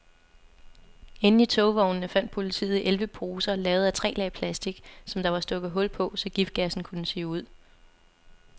Inde i togvognene fandt politiet elleve poser lavet af tre lag plastik, som der var stukket hul på, så giftgassen kunne sive ud.